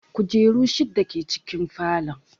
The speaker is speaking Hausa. Kujeru shidda ke cikin falon